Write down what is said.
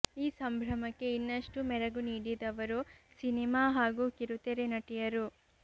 ಈ ಸಂಭ್ರಮಕ್ಕೆ ಇನ್ನಷ್ಟು ಮೆರಗು ನೀಡಿದವರು ಸಿನೆಮಾ ಹಾಗೂ ಕಿರುತೆರೆ ನಟಿಯರು